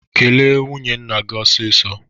Kele nwunye nna gị ọsịsó!